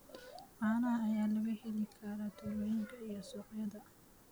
Caanaha ayaa laga heli karaa tuulooyinka iyo suuqyada.